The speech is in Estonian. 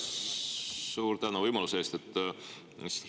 Suur tänu võimaluse eest!